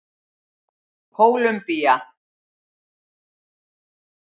Kólumbía